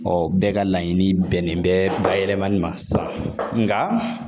bɛɛ ka laɲini bɛnnen bɛ ba yɛlɛmali ma sisan nka